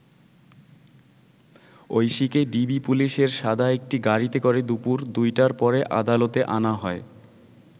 ঐশীকে DB পুলিশের সাদা একটি গাড়িতে করে দুপুর ২টার পরে আদালতে আনা হয়।